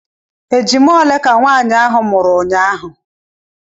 Ejima ole ka nwaanyị ahụ mụrụ unyaahụ?